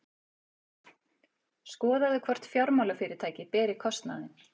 Skoðað hvort fjármálafyrirtæki beri kostnaðinn